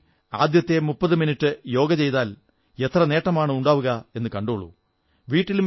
സ്കൂളിൽ ആദ്യത്തെ 30 മിനിട്ട് യോഗ ചെയ്താൽ എത്ര നേട്ടമാണുണ്ടാവുകയെന്നു കണ്ടോളൂ